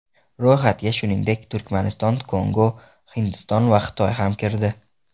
Ro‘yxatga shuningdek Turkmaniston, Kongo, Hindiston va Xitoy ham kirdi.